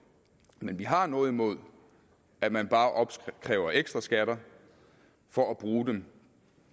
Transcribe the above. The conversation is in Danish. men vi har noget imod at man bare opkræver ekstra skatter for at bruge dem